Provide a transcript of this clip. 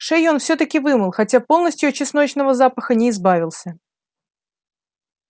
шею он всё-таки вымыл хотя полностью от чесночного запаха не избавился